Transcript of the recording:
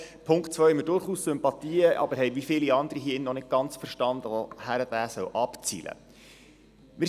Für den Punkt 2 haben wir durchaus Sympathien, aber wie viele andere hier haben wir noch nicht ganz verstanden, worauf dieser abzielen soll.